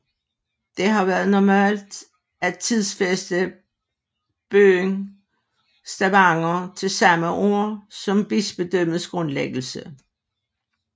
Det har været normalt at tidsfæste byen Stavanger til samme år som bispedømmets grundlæggelse